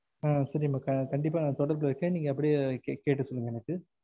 சரி கண்டிப்பா நா தொடர்புல இருக்கேன் நீங்க அப்டியே கேட்டு சொல்லுங்க எனக்கு